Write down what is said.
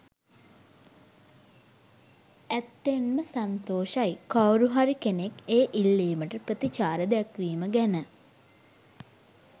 ඇත්තෙන්ම සන්තෝෂයි කවුරුහරි කෙනෙක් ඒ ඉල්ලීමට ප්‍රතිචාර දැක්වීම ගැන.